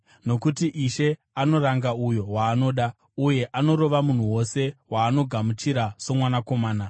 nokuti Ishe anoranga uyo waanoda, uye anorova munhu wose waanogamuchira somwanakomana.”